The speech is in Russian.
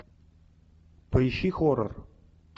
поищи хоррор